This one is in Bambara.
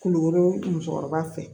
Kulukoro musɔkɔrɔba fɛ